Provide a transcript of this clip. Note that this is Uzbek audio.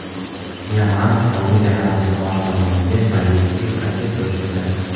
Yaman Suadiya Arabistoni tomoniga ballistik raketa uchirdi.